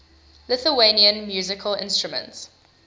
lithuanian musical instruments